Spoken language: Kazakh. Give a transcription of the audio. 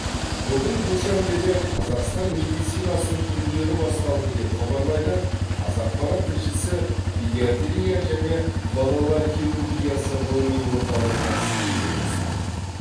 бүгін душанбеде қазақстан медицинасының күндері басталды деп хабарлайды қазақпарат тілшісі педиатрия және балалар хирургиясы ғылыми орталығына сілтеме жасап